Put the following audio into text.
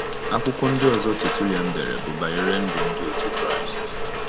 Akwụkwọ ndị ọzọ Tertullian dere bụ banyere ndụ ndi otu Kraịst.